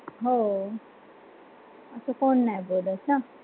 हो अस कोण नाही बोलत न